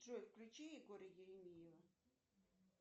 джой включи егора еремеева